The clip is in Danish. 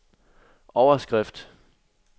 overskrift